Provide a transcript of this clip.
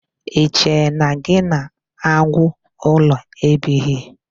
I che na gị na agwu ụlọ ebighị?